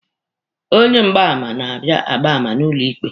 Onye mgbaàmà na-abịa agba àmà n'ụlọ ikpe.